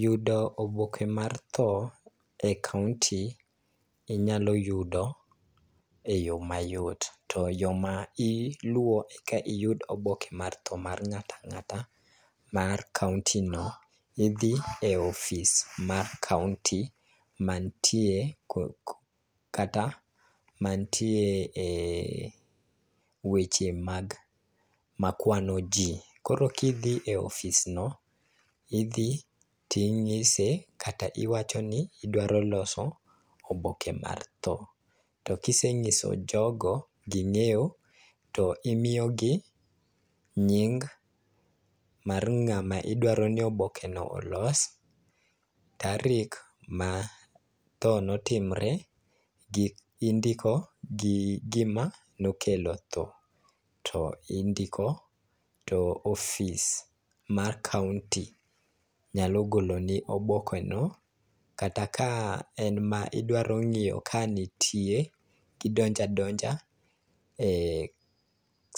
Yudo oboke mar tho e kaonti, inyalo yudo e yo mayot. To yo ma iluwo e ka iyudo oboke mar tho mar ng'atang'ata mar kaonti no, idhi e ofis mar kaonti mantie kata mantie e weche mag ma kwano ji. Koro kidhie ofis no, idhi ting'ise kata iwacho ni idwaro loso oboke mar tho. To kiseng'iso jogo, ging'eyo, to imiyo gi nying mar ng'ama idwaro ni oboke no olos, tarik ma tho notimre, gi indiko gi gima nokelo tho. To indiko, to ofis mar kaonti nyalo golo ni oboke no kata ka en ma idwaro ng'iyo ka nitie, tidonjo adonja e